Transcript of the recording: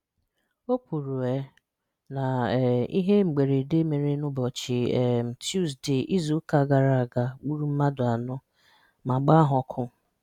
O kwuru um na um ihe mberede mere n'ụbọchị um Tuzde izuụka gara aga gburu mmadụ anọ ma gbaa ha ọkụ.